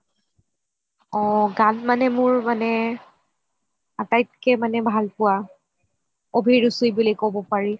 অ গান মানে মোৰ মানে আটাইতকে ভাল পোৱা অভিৰুচি বুলি কব পাৰি